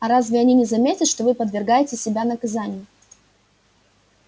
а разве они не заметят что вы подвергаете себя наказанию